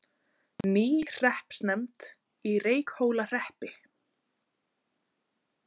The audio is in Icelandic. Ný hreppsnefnd í Reykhólahreppi